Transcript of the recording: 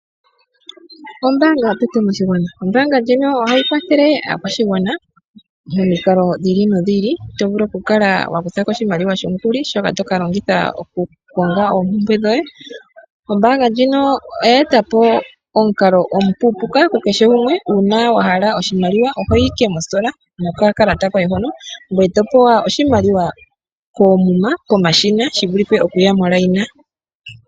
Ombaanga yotango moshigwana. Ombaanga ndjino ohayi kwathele aakwashigwana momikalo dhi ili nodhi ili, to vulu okukala wa kuthako oshimaliwa shomukuli shoka to ka longitha okukonga oompumbwe dhoye. Ombaanga ndjino oya etapo omukalo omupupuka ku kehe gumwe. Uuna wa hala oshimaliwa ohoyi ike mositola nokakalata koye hono, ngoye to pewa oshimaliwa koomuma pomashina shi vulithe omuya momukweyo.